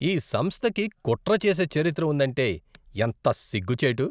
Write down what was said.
ఈ సంస్థకి కుట్ర చేసే చరిత్ర ఉందంటే ఎంత సిగ్గుచేటు!